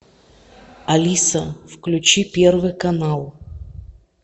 алиса включи первый канал